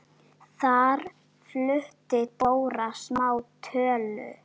Þar flutti Dóra smá tölu.